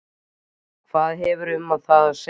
Hvað hefurðu um það að segja?